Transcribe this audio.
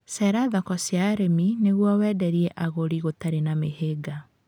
Cerera thoko cia arĩmi nĩguo wenderie agũri gũtari mĩhĩnga